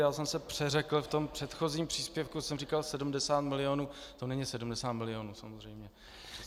Já jsem se přeřekl, v tom předchozím příspěvku jsem říkal 70 milionů, to není 70 milionů samozřejmě.